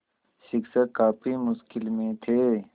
शिक्षक काफ़ी मुश्किल में थे